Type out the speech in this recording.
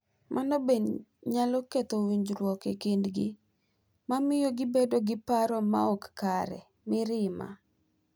Mano bende nyalo ketho winjruok e kindgi, ma miyo gibedo gi paro ma ok kare, mirima,